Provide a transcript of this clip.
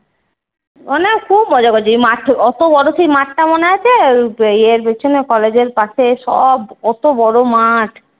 মানে খুব মজা করেছি ওই মাঠ অত বড় সেই মাঠটা মনে আছে? ইয়ের পেছনে college এর পাশে সব অত বড় মাঠ?